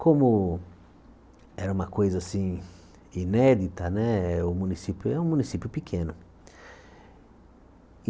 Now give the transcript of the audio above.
Como era uma coisa assim inédita né, o município é um município pequeno.